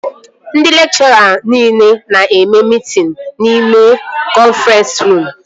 Ndị lekchọra nile na-eme mitin n'ime kọnfrens ruum